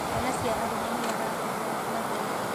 Ciana cia arũme nĩ maratigwo na thutha.